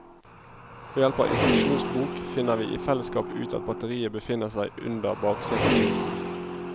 Ved hjelp av instruksjonsbok finner vi i fellesskap ut at batteriet befinner seg under bakseteputen.